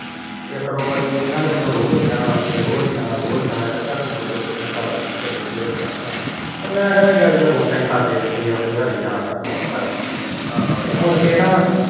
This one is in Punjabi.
ਇੱਕ ਦੋ ਵਾਰੀ ਇਹਨਾ ਨੇ ਮੈਨੂੰ ਰੋਜ ਕਹਿਣਾ ਰੋਜ ਕਹਿਣਾ ਕ ਚਾਚਾ ਤੂੰ ਦੁਧ ਉਧਰੋ ਹਟਾ ਲਾ ਚਾਚਾ ਦੁਧ ਹਟਾ ਲਾ ਤੇ ਮੈ ਕਹਿਣਾ ਉਦਾ ਕਰਦੇ ਰਹਿੰਦੇ ਜਾਣ ਹੱਥੀ ਤੇ ਮੁੜਕੇ ਨਾ